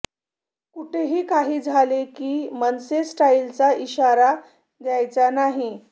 कुठेही काही झाले की मनसे स्टाईलचा इशारा द्यायचा नाही